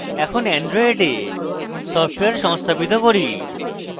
এখন অ্যান্ড্রয়েডে সফটওয়্যার সংস্থাপিত করি